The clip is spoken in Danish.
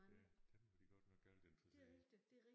Ja dem var de godt nok galt interesseret i